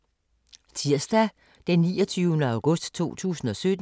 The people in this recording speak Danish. Tirsdag d. 29. august 2017